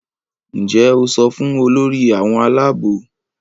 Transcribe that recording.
Njé o so fún Olórí àwọn Àlàabò?